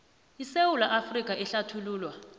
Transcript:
isewula afrika ehlathululwa